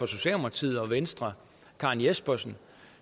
socialdemokratiet og venstre karen jespersen